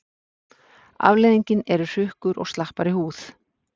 Afleiðingin eru hrukkur og slappari húð.